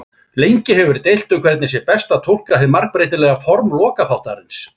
Lengi hefur verið deilt um hvernig sé best að túlka hið margbreytilega form lokaþáttarins.